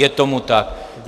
Je tomu tak.